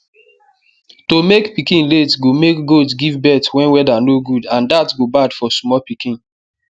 to make pikin late go make goat give birth when weather no good and dat go bad for small pikin